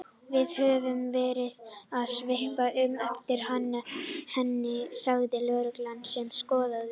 Við höfum verið að svipast um eftir henni sagði lögreglan sem skoðaði